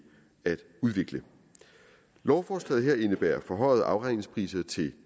at udvikle lovforslaget her indebærer forhøjede afregningspriser til